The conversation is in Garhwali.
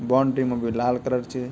बॉन्ड्री मा बि लाल कलर च।